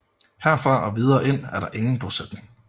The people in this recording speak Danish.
Herfra og videre ind er der ingen bosætning